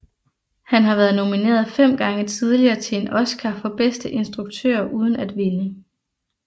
Han har været nomineret fem gange tidligere til en oscar for bedste instruktør uden at vinde